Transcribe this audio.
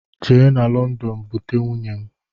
Je na london bute nwunye m!